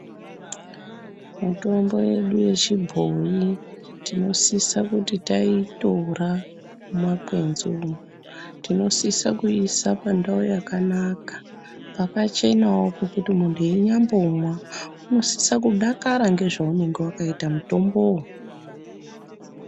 Mitombo yedu yechibhoyi tinosise kuti taitora mumakwenzi umu, tinosise kuisa pandau yakanaka pakachenawo pekuti munhu einyambomwa unosisa kudakara ngezvaunonga wakaita mutombowo.